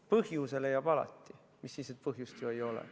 Põhjuse leiab alati, mis siis, et põhjust ju ei ole.